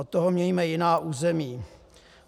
Od toho mějme jiná území.